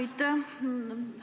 Aitäh!